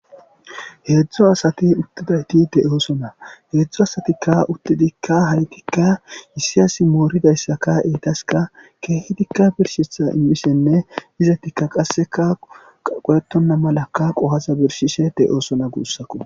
Heedzdu asati uttidayti de'oosona heedzdzu asatikka uttidikka haytikka issiy asi mooridayssaka eetaska keehedikka birshetha immisenne izatikka qasseka qaqoyetonna malaka qohaza birshishe de7oosona guussaku.